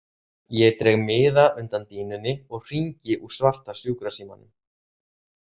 Ég dreg miða undan dýnunni og hringi úr svarta sjúkrasímanum.